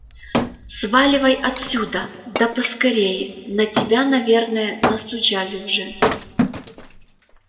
сваливай отсюда да поскорее на тебя наверное настучали уже